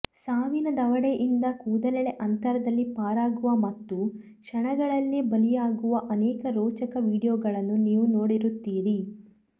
ಸಾವಿನ ದವಡೆಯಿಂದ ಕೂದಲೆಳೆ ಅಂತರಲ್ಲಿ ಪಾರಾಗುವ ಮತ್ತು ಕ್ಷಣಗಳಲ್ಲೇ ಬಲಿಯಾಗುವ ಅನೇಕ ರೋಚಕ ವಿಡಿಯೋಗಳನ್ನು ನೀವು ನೋಡಿರುತ್ತೀರಿ